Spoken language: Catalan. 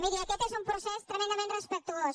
miri aquest és un procés tremendament respectuós